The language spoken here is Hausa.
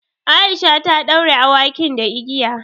Aisha ta ɗaure awakin da igiya.